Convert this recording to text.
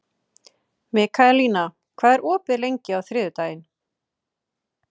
Mikaelína, hvað er opið lengi á þriðjudaginn?